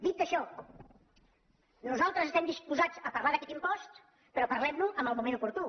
dit això nosaltres estem disposats a parlar d’aquest impost però parlem ne en el moment oportú